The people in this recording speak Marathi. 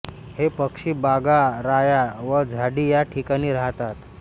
हे पक्षी बागा राया व झाडी या ठिकाणी राहतात